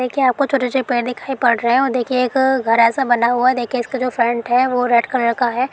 देखिए आपको छोटे-छोटे पेड़ दिखाई पड़ रहे हैं और देखिए एक घर ऐसा बना हुआ है और देखिए इसका जो फ्रंट है वो रेड कलर का है।